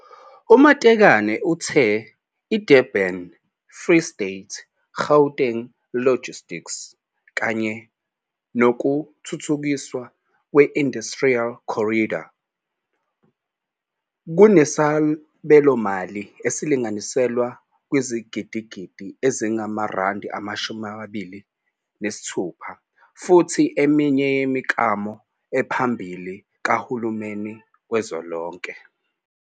U-Matekane uthe iDurban-Free State-Gauteng Logistics kanye nokuthuthukiswa kwe-Industrial Corridor kunesabelomali esilinganiselwa kwizigidigidi ezingama-R26 futhi ingeminye yemiklamo ephambili kahulumeni kazwelonke.